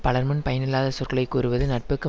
பலர்முன் பயனில்லாத சொற்களை கூறுவது நட்புக்கு